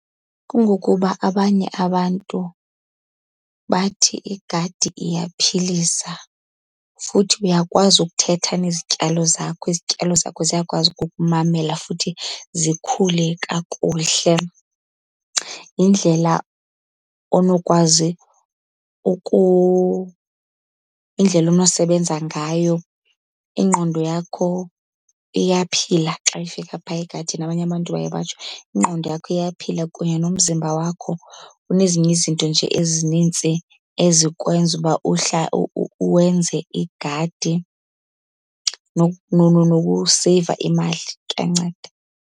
Kungokuba abanye abantu bathi igadi iyaphilisa, futhi uyakwazi ukuthetha nezityalo zakho, izityalo zakho ziyakwazi ukukumamela futhi zikhule kakuhle. Yindlela onokwazi , yindlela onosebenza ngayo. Ingqondo yakho iyaphila xa ifika phaa egadini, abanye abantu baye batsho. Ingqondo yakho iyaphila kunye nomzimba wakho. Kunezinye izinto nje ezinintsi ezikwenza uba uwenze igadi, nokuseyiva imali, kuyanceda.